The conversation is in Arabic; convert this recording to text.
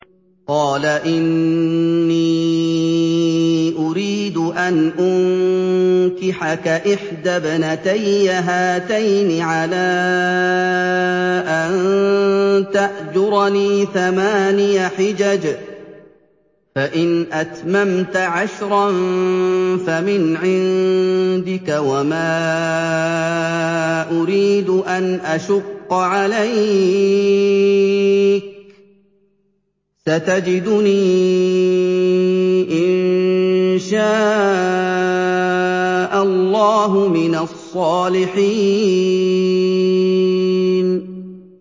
قَالَ إِنِّي أُرِيدُ أَنْ أُنكِحَكَ إِحْدَى ابْنَتَيَّ هَاتَيْنِ عَلَىٰ أَن تَأْجُرَنِي ثَمَانِيَ حِجَجٍ ۖ فَإِنْ أَتْمَمْتَ عَشْرًا فَمِنْ عِندِكَ ۖ وَمَا أُرِيدُ أَنْ أَشُقَّ عَلَيْكَ ۚ سَتَجِدُنِي إِن شَاءَ اللَّهُ مِنَ الصَّالِحِينَ